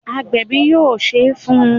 Agbẹ̀bi yóò Ṣé fun